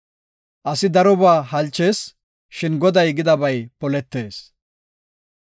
Asi darobaa halchees; shin Goday gidabay poletees.